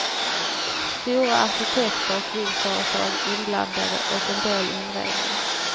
Stora arkitekter och byggföretag inblandade och en del inredning.